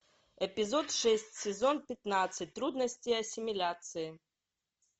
эпизод шесть сезон пятнадцать трудности ассимиляции